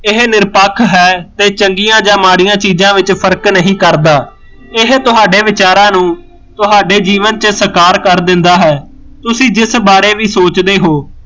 ਇਹ ਨਿਰਪੱਖ ਹੈ ਤੇ ਚੰਗੀਆਂ ਜਾਂ ਮਾੜੀਆਂ ਚੀਜ਼ਾਂ ਵਿੱਚ ਫਰਕ ਨਹੀਂ ਕਰਦਾ ਇਹ ਤੁਹਾਡੇ ਵਿਚਾਰਾਂ ਨੂੰ ਤੁਹਾਡੇ ਜੀਵਨ ਚ ਸਕਾਰ ਕਰ ਦਿੰਦਾ ਹੈ ਤੁਸੀਂ ਜਿਸ ਬਾਰੇ ਵੀ ਸੋਚਦੇ ਹੋ